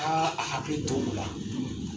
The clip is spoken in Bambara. Aa a hakili tol'o la